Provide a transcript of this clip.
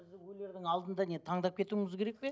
өлердің алдында не таңдап кетуіміз керек пе